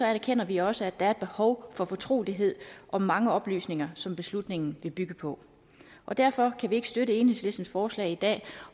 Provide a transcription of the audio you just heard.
erkender vi også at der er et behov for fortrolighed om mange oplysninger som beslutningen vil bygge på og derfor kan vi ikke støtte enhedslistens forslag i dag